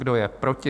Kdo je proti?